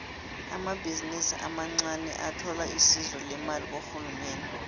amabhizinisi amancaniathola isizo lemali kurhulumende